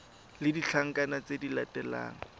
le ditlankana tse di latelang